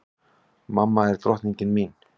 Mamma er drottningin mín.